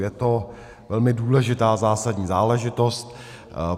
Je to velmi důležitá, zásadní záležitost.